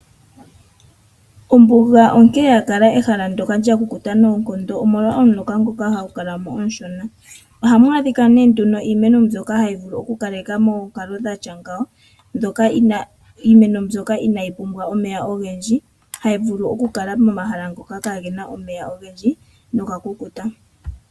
Ombuga onkee ya kala ehala ndyoka lya kukuta noonkondo omolwa omuloka ngono hagu kala mo omushona. Ohamu adhika nee nduno iimeno mbyoka hayi vulu oku kaleka moonkalo dhtya ngawo . Iimeno mbyoka inaayi pumbwa omeya ogendji, hayi vulu oku kala mo mahala ngoka kaagena omeya ogendji noga kukuta.